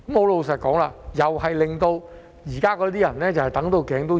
老實說，這樣又會令現時那些居民"等到頸都長"。